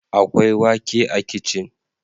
Akwai wake a kicin